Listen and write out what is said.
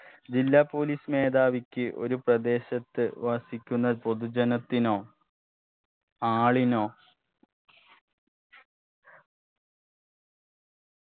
ജില്ലാ police മേധാവിക്ക് ഒരു പ്രദേശത്ത് വസിക്കുന്ന പൊതുജനത്തിനോ ആളിനോ